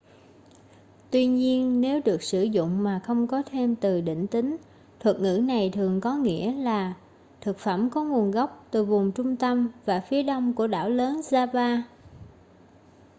tuy nhiên nếu được sử dụng mà không có thêm từ định tính thuật ngữ này thường có nghĩa là thực phẩm có nguồn gốc từ vùng trung tâm và phía đông của đảo lớn java